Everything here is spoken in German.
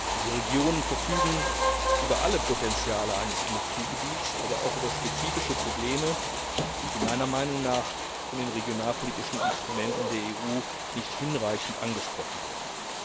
Diese Regionen verfügen über alle Potenziale eines Industriegebiets, aber auch über spezifische Probleme, die meiner Meinung nach von den regionalpolitischen Instrumenten der EU nicht hinreichend angesprochen werden.